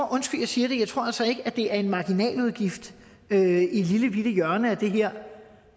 undskyld jeg siger det at det er en marginal udgift i et lillebitte hjørne af det her